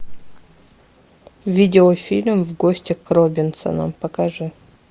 видео фильм в гости к робинсонам покажи